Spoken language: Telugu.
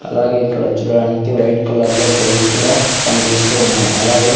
అలాగే ఇక్కడ చూడడానికి వైట్ కలర్ లో టైల్స్ కూడా కనిపిస్తూ ఉన్నాయి అలాగే.